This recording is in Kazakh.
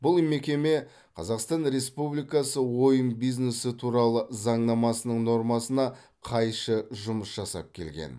бұл мекеме қазақстан республикасы ойын бизнесі туралы заңнамасының нормасына қайшы жұмыс жасап келген